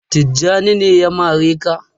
Tijjani ne ya mare ka?.